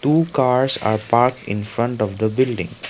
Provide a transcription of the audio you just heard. two cars are parked in front of the building.